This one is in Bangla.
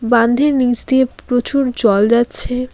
বান্ধের নীচ দিয়ে প্রচুর জল যাচ্ছে।